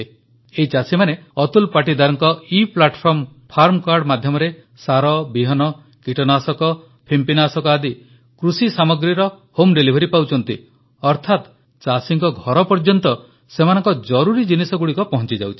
ଏହି ଚାଷୀମାନେ ଅତୁଲ ପାଟୀଦାରଙ୍କ ଇପ୍ଲାଟଫର୍ମ ଫାର୍ମ କାର୍ଡ ମାଧ୍ୟମରେ ସାର ବିହନ କୀଟନାଶକ ଫିମ୍ପିନାଶକ ଆଦି କୃଷି ସାମଗ୍ରୀର ହୋମ୍ ଡିଲିଭରି ପାଉଛନ୍ତି ଅର୍ଥାତ ଚାଷୀଙ୍କ ଘରପର୍ଯ୍ୟନ୍ତ ସେମାନଙ୍କ ଜରୁରୀ ଜିନିଷଗୁଡ଼ିକ ପହଂଚିଯାଉଛି